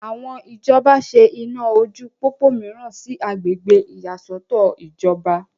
àwọn ìjọba ṣe iná ojú pópó mìíràn sí agbègbè ìyàsọ́tọ̀ ìjọba